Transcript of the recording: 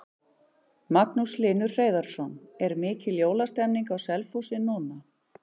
Magnús Hlynur Hreiðarsson: Er mikil jólastemning á Selfossi núna?